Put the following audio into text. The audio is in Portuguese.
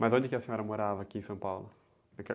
Mas onde que a senhora morava aqui em São Paulo?